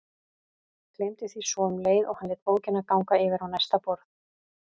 Gleymdi því svo um leið og hann lét bókina ganga yfir á næsta borð.